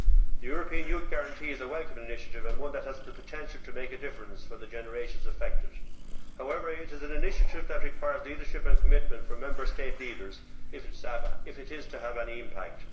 The European Youth Guarantee is a welcome initiative and one that has the potential to make a difference for the generations affected. However, it is an initiative which requires leadership and commitment from Member State leaders if it is to have any impact.